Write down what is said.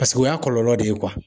Paseke o y'a kɔlɔlɔ de ye